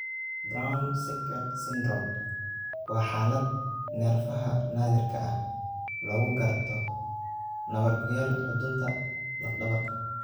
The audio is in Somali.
Brown Sequard syndrome waa xaalad neerfaha naadirka ah oo lagu garto nabar ku yaal xudunta laf dhabarta.